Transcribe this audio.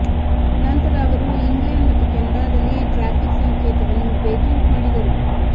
ನಂತರ ಅವರು ಇಂಗ್ಲೆಂಡ್ ಮತ್ತು ಕೆನಡಾದಲ್ಲಿ ಟ್ರಾಫಿಕ್ ಸಂಕೇತವನ್ನು ಪೇಟೆಂಟ್ ಮಾಡಿದರು